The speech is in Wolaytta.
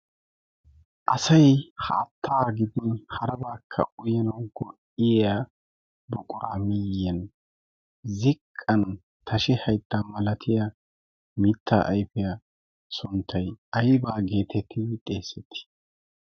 asai haattaa gidin harabaakka uyanau go7iyya buquraamiyyan ziqqan tashi haittaa malatiya mitta aifiya sonttai aibaa geetettidi xeessetti?